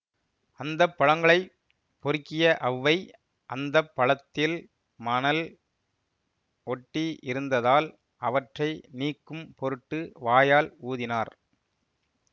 அந்த பழங்களைப் பொறுக்கிய அவ்வை அந்த பழத்தில் மனல் ஒட்டி இருந்ததால் அவற்றை நீக்கும் பொருட்டு வாயால் ஊதினார்